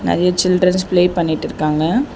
நெறைய children play பண்ணிட்டு இருக்காங்க.